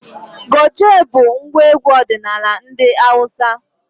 Goje bụ ngwa egwu ọdinala ndị Awụsa.